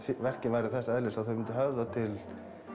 verkin væru þess eðlis að þau myndu höfða til